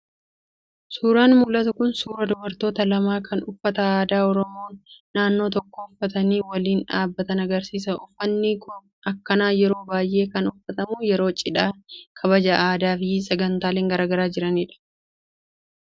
Suuraan mul'atu kun suuraa dubartoota lama kan uffata aadaa oromoo naannoo tokkoo uffatanii waliin dhaabbatan agarsiisa. Uffatni akkanaa yeroo baay'ee kan uffatamu yeroo cidhaa, kabaja aadaa fi sagantaaleen garaagaraa jiranidha.